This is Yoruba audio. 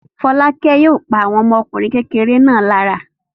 Fọ́lákẹ́ yóò pa àwọn ọmọkùnrin kékeré náà lára.